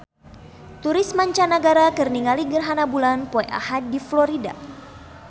Turis mancanagara keur ningali gerhana bulan poe Ahad di Florida